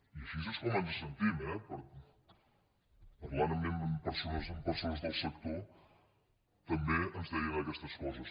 i així és com ens sentim eh parlant amb persones del sector tam·bé ens deien aquestes coses